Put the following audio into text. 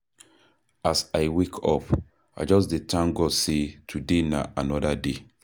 As I wake up, I just dey thank God sey today na anoda day.